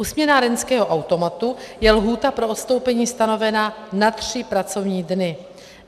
U směnárenského automatu je lhůta pro odstoupení stanovena na tři pracovní dny.